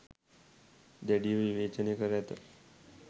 දැඩිව විවේචනය කර ඇත